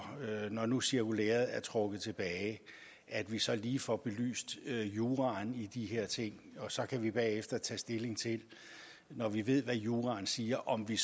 når nu cirkulæret er trukket tilbage at vi så lige får belyst juraen i de her ting så kan vi bagefter tage stilling til når vi ved hvad juraen siger om vi